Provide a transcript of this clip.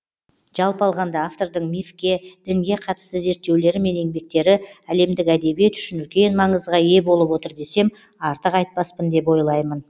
жалпы алғанда автордың мифке дінге қатысты зерттеулері мен еңбектері әлемдік әдебиет үшін үлкен маңызға ие болып отыр десем артық айтпаспын деп ойлаймын